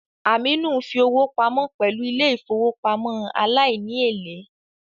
Aminu ń fi owó pamọ́ pẹ̀lú ilé ìfowópamọ́ aláìní èlé